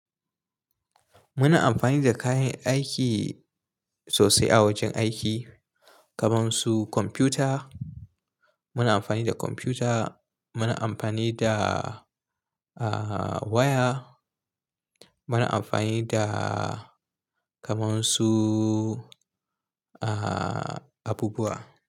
Muna amfani da kayan aiki sosai a wajen aiki, kamar su kwamfuta. Muna amfani da kwamfuta, muna amfani da, ah, waya, muna amfani da kamar su, ah, abubuwa.